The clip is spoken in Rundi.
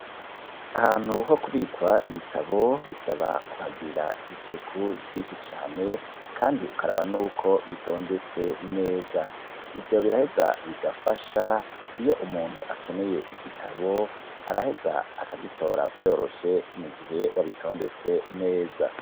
Ahantu ho kubikwa ibitabo bisaba kuhagira isuku ryinshi cane kandi ukaraba n'uko bitondetse neza ivyo biraheza bigafasha iyo umuntu akeneye igitabo araheza akagitora vyoroshe mugihe wabitondetse neza